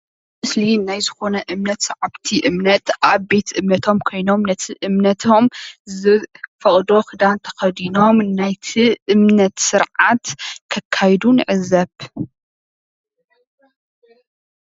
እዚ ምስሊ ሰዓብቲ እምነት ኮይኖም ከፍ ኢለም እንትከታተሉ የርኢ።